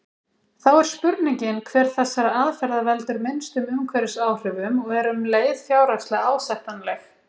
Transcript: Þá er spurningin hver þessara aðferða veldur minnstum umhverfisáhrifum og er um leið fjárhagslega ásættanleg.